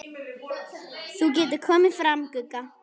Þú getur komið fram, Gugga!